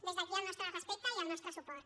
des d’aquí el nostre respecte i el nostre suport